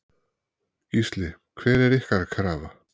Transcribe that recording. Gísli: Hver er ykkar krafa?